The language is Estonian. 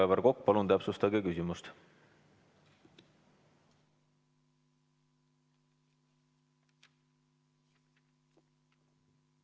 Aivar Kokk, palun täpsustage küsimust!